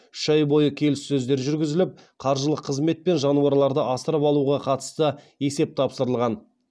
үш ай бойы келіссөздер жүргізіліп қаржылық қызмет пен жануарларды асырап алуға қатысты есеп тапсырылған